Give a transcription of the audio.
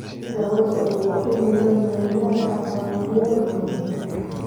Daawada waa in la mariyaa afar jeer maalintii.